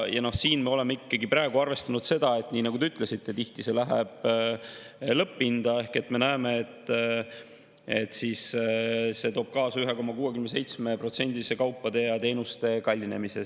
Ja siin me oleme ikkagi praegu arvestanud seda, et, nii nagu te ütlesite, tihti see läheb lõpphinda, ehk me näeme, et see 2% võrra käibemaksu tõstmine toob kaasa 1,67%‑lise kaupade ja teenuste kallinemise.